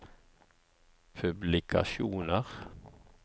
publikasjoner